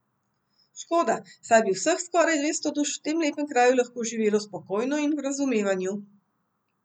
Škoda, saj bi vseh skoraj dvesto duš v tem lepem kraju lahko živelo spokojno in v razumevanju.